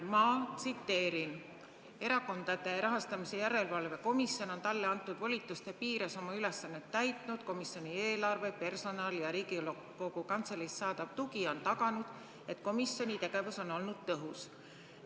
Ma tsiteerin: "ERJK on talle antud volituste piires oma ülesannet täitnud, komisjoni eelarve, personal ja Riigikogu Kantseleist saadav tugi on taganud, et komisjoni tegevus on olnud tõhus.